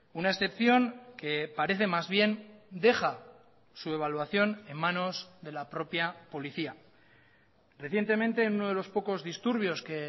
una excepción que parece más bien deja su evaluación en manos de la propia policía recientemente uno de los pocos disturbios que